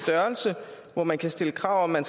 størrelse hvor man kan stille krav om at